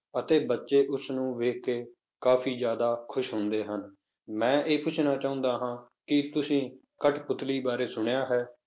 ਅਤੇ ਬੱਚੇ ਉਸਨੂੰ ਵੇਖ ਕੇ ਕਾਫ਼ੀ ਜ਼ਿਆਦਾ ਖ਼ੁਸ਼ ਹੁੰਦੇ ਹਨ, ਮੈਂ ਇਹ ਪੁੱਛਣਾ ਚਾਹੁੰਦਾ ਹਾਂ ਕਿ ਤੁਸੀਂ ਕਟਪੁਤਲੀ ਬਾਰੇ ਸੁਣਿਆ ਹੈ?